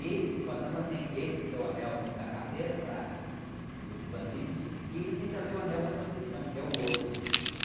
E o fantasma tem esse que é o anel da caveira para para os bandidos e ele tem também o anel da proteção que é o outro.